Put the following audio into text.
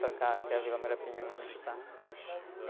Para cá, que é a Vila Muirapinima, onde a gente está.